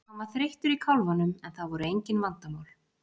Hann var þreyttur í kálfanum en það voru engin vandamál.